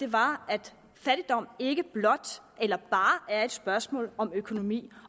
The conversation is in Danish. var at fattigdom ikke blot eller bare er et spørgsmål om økonomi